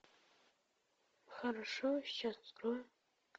хорошо сейчас открою